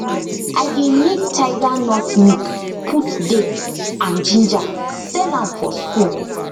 i dey make tiger nut milk put date and ginger sell am for school